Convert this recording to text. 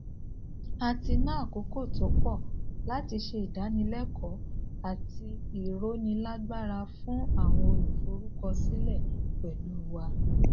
a tí ná àkókò tó pọ láti se ìdánilékòó àti ironilagbara fún àwọn oluforukosike pẹlu wa